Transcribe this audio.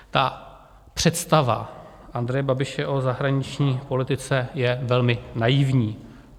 Ta představa Andreje Babiše o zahraniční politice je velmi naivní.